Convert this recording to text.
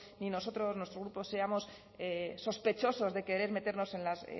ni nosotros nuestro grupo seamos sospechosos de querer meternos en las